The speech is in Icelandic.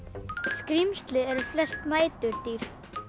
skrímsli eru flest næturdýr